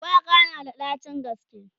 shuwaka tana da ɗacin gaske